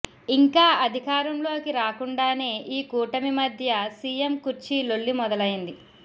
ఇంకా అధికారంలోకి రాకుండానే ఈ కూటమి మధ్య సీఎం కుర్చీ లొల్లి మొదలైంది